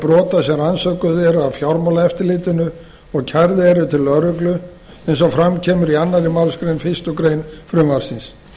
brota sem rannsökuð eru af fjármálaeftirlitinu og kærð eru til lögreglu eins og fram kemur í annarri málsgrein fyrstu grein frumvarpsins